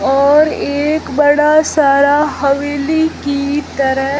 और एक बड़ा सारा हवेली की तरह--